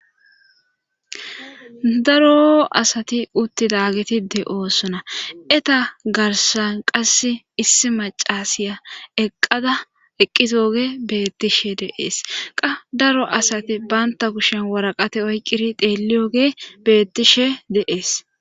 daro asati uttidagetide oosona eta garsan qass issi macasiya eqqada eqqitooge beettishe deees qa daro asati banta kushen woraqate oyqqiri deeli oge bettishe deees